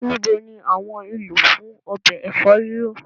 Níbo ní àwọn èlò fún obẹ̀ ẹfọ riro?